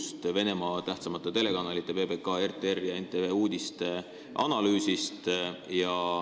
Analüüsiti Venemaa tähtsamate telekanalite PBK, RTR ja NTV uudiseid.